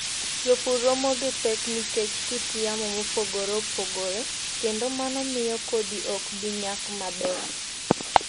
Jopur romo gi pek nikech kit yamo mopogore opogore, kendo mano miyo kodhi ok bi nyak maber.